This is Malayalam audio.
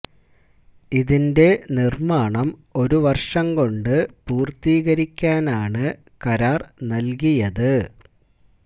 ഇതിന്റെ നിര്മ്മാണം ഒരു വര്ഷം കൊണ്ട് പൂര്ത്തീകരിക്കാനാണ് കരാര് നല്കിയത്